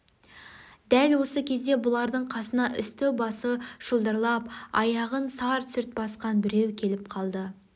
дәл осы кезде бұлардың қасына үсті-басы шылдырлап аяғын сарт-сүрт басқан біреу келіп қалды